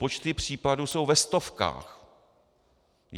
Počty případů jsou ve stovkách.